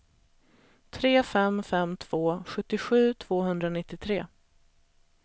tre fem fem två sjuttiosju tvåhundranittiotre